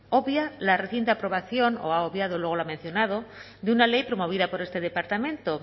obvia la reciente aprobación o ha obviado luego lo ha mencionado de una ley promovida por este departamento